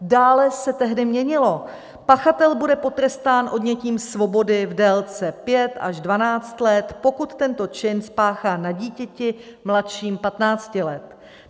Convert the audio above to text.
Dále se tehdy měnilo: Pachatel bude potrestán odnětím svobody v délce 5 až 12 let, pokud tento čin spáchá na dítěti mladším 15 let.